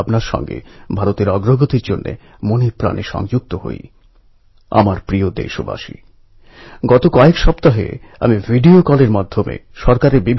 আমরা ২৩শে জুলাই তিলকজীর জন্মজয়ন্তী আর ১লা আগষ্ট ওঁর প্রয়াণদিবসে তাঁকে ভক্তি ভরে স্মরণ করি